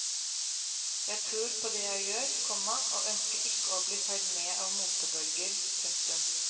Jeg tror på det jeg gjør, komma og ønsker ikke å bli feid med av motebølger. punktum